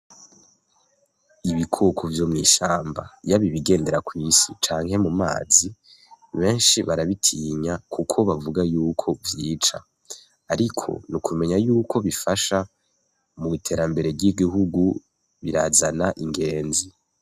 Ibikoko vyo mw'ishamba yaba ibigendera kw'isi canke mumazi benshi barabitinya kuko bavuga yuko vyica, ariko ni ukumenya yuko kobifasha mw'iterambere ry'Igihugu, birazana ingezi.